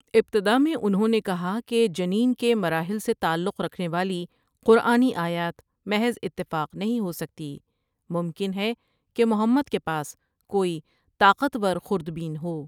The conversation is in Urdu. ابتدا میں انہوں نے کہا کہ جنین کے مراحل سے تعلق رکھنے والی قرآنی آیات محض اتفاق نہیں ہو سکتی ممکن ہے کہ محمد ۖکے پاس کوئی طاقت ورخوردبین ہو۔